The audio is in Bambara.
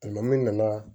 nana